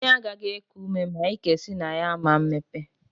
Imi agaghị eku ume ma ike si na ya ama mmepe.